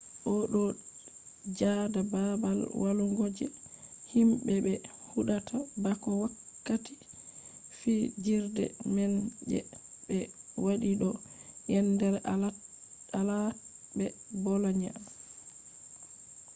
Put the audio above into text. o do joda babal walugo je himbe be hudata bako wakkati fijirde man je be wati do yendere alaat be bolonia